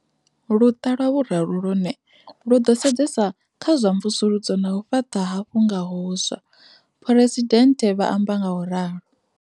Luṱa lwa vhuraru lwone, lu ḓo sedzesa kha zwa mvusuludzo na u fhaṱa hafhu nga huswa, Phresidennde vha amba ngauralo.